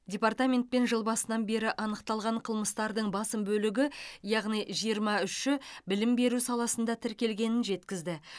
департаментпен жыл басынан бері анықталған қылмыстардың басым бөлігі яғни жиырма үші білім беру саласында тіркелгенін жеткізді